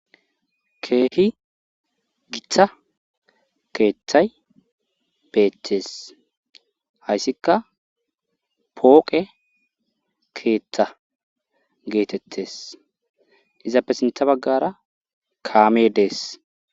Keehi githa keeththay beettes hayssikka pooqe keeththa geetettes izappe sintha baggara kaame dees